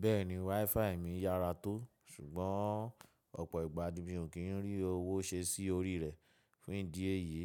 Bẹ́ẹ̀ni WiFi mi yára tó, ṣùgbọ́n ọ̀pọ̀ ìgbà ní mi o kì ń rí owó ṣe sí orí rẹ̀ fún ìdí èyí,